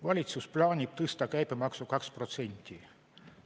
Valitsus plaanib tõsta käibemaksu 2%.